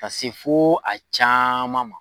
Ka se fo a caman ma.